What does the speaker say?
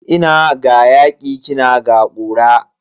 Ina ga yaki kina ga kura.